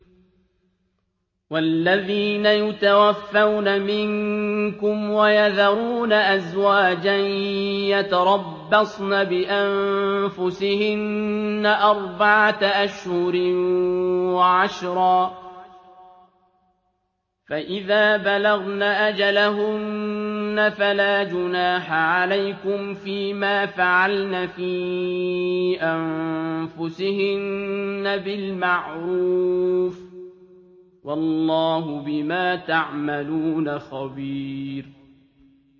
وَالَّذِينَ يُتَوَفَّوْنَ مِنكُمْ وَيَذَرُونَ أَزْوَاجًا يَتَرَبَّصْنَ بِأَنفُسِهِنَّ أَرْبَعَةَ أَشْهُرٍ وَعَشْرًا ۖ فَإِذَا بَلَغْنَ أَجَلَهُنَّ فَلَا جُنَاحَ عَلَيْكُمْ فِيمَا فَعَلْنَ فِي أَنفُسِهِنَّ بِالْمَعْرُوفِ ۗ وَاللَّهُ بِمَا تَعْمَلُونَ خَبِيرٌ